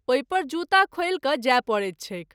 ओहि पर जूता खोलि क’ जाय परैत छैक।